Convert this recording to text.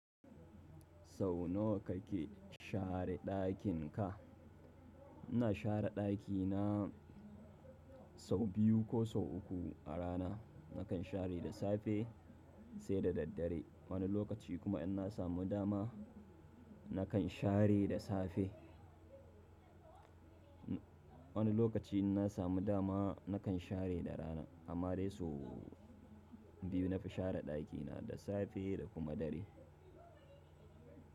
Sau nawa kake share ɗakin ka? Ina share ɗakina sau biyu ko sau uku a rana. Nakan share da safe sai da dare. Wani lokaci kuma in na samu dama nakan share da safe. Wani lokaci in na samu dama nakan share da rana amma dai sau biyu nafi share ɗakina da safe da kuma dare.